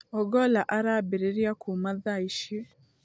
Ogolla arambĩrĩria kuuma tha ici.